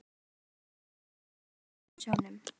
Ég brosti líka, einn af milljón fiskum í sjónum.